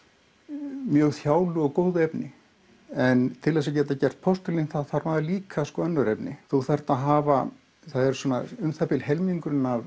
mjög þjálu og góðu efni en til þess að gera postulín þá þarf að hafa líka önnur efni þú þarft að hafa það er um það bil helmingurinn af